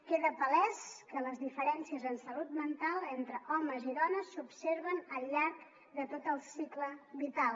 queda palès que les diferències en salut mental entre homes i dones s’observen al llarg de tot el cicle vital